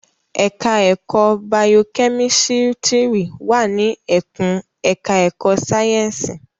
Ẹ̀ka ẹ̀kó bayokẹ́mísítírì wà ní ẹkùn ẹ̀ka ẹ̀kó sáyẹ́ǹsì.